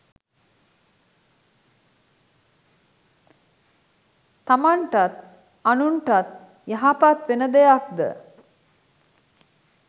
තමන්ටත් අනුන්ටත් යහපත් වෙන දෙයක් ද